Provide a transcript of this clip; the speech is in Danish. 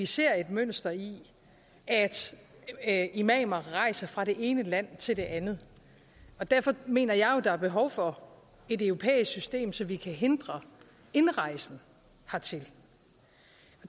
set et mønster i at imamer rejser fra det ene land til det andet derfor mener jeg jo at der er behov for et europæisk system så vi kan hindre indrejsen hertil